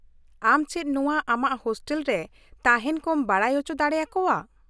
ᱟᱢ ᱪᱮᱫ ᱱᱚᱶᱟ ᱟᱢᱟᱜ ᱦᱳᱥᱴᱮᱞ ᱨᱮ ᱛᱟᱦᱮᱱ ᱠᱚᱢ ᱵᱟᱰᱟᱭ ᱚᱪᱚ ᱫᱟᱲᱮᱭᱟᱠᱚᱣᱟᱼᱟ ?